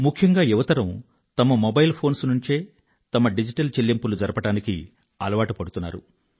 ముఖ్యంగా యువతరం తమ మొబైల్ ఫోన్స్ నుండే తమ డిజిటల్ చెల్లింపులను జరపడానికి అలవాటుపడుతున్నారు